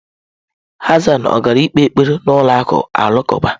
Hassan ọ gaala ikpe ekpere n'ụlọ alakụba?